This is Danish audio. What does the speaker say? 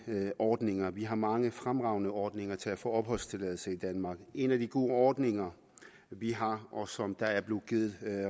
ordninger vi har mange fremragende ordninger til at få opholdstilladelse i danmark en af de gode ordninger vi har og som der er blevet givet